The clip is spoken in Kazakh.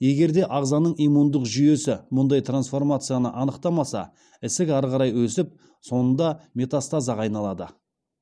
егер де ағзаның иммундық жүйесі мұндай трансформацияны анықтамаса ісік ары қарай өсіп соңында метастазға айналады